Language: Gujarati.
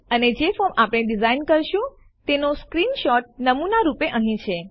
અને જે ફોર્મ આપણે ડીઝાઇન કરીશું તેનો સ્ક્રીનશોટ નમૂનારૂપે અહીં છે